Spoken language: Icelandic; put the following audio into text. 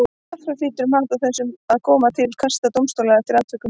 Jafnframt hlýtur mat á þessu að koma til kasta dómstóla eftir atvikum.